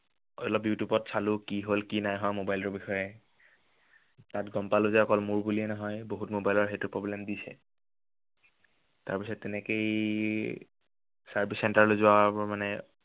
অলপ ইউটিউবত চালো, কি হ'ল কি নাই mobile ৰ বিষয়ে। তাতা গম পালো যে অকল মোৰ বুলিয়ে নহয় বহুত mobile ত সেইটো problem দিছে। তাৰপিছত তেনেকেই, service centre লৈ যোৱাবোৰ মানে